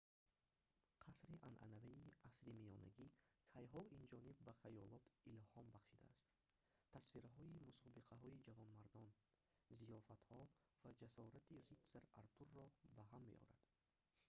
қасри анъанавии асримиёнагӣ кайҳо инҷониб ба хаёлот илҳом бахшидааст тасвирҳои мусобиқаҳои ҷавонмардон зиёфатҳо ва ҷасорати ритсар артурро ба ҳам меорад